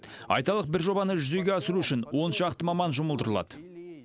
айталық бір жобаны жүзеге асыру үшін он шақты маман жұмылдырылады